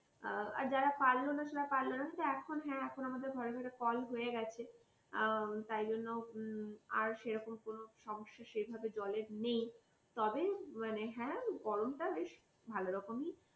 আর যারা পারল না সেটা পারল না কিন্তু এখন হ্যাঁ এখন আমাদের ঘরে ঘরে কল হয়ে গেছে অ্যা তাই জন্য হুম আর সেরকম কোন সমস্যা সেইভাবে জলের নেই তবে মানে হ্যাঁ গরমটা বেশ ভালো রকমই